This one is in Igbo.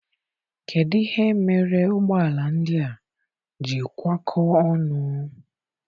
Kedụ ihe mere ụgbọala ndị a ji kwa kọọ ọnụ?